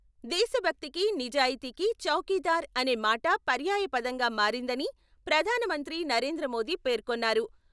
దేశభక్తికి, నిజాయితీకి ' చౌకీదార్ 'అనే మాట పర్యాయపదంగా మారిందని ప్రధానమంత్రి నరేంద్రమోదీ పేర్కొన్నారు.